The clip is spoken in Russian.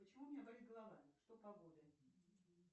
почему у меня болит голова что погода